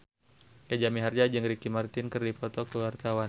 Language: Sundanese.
Jaja Mihardja jeung Ricky Martin keur dipoto ku wartawan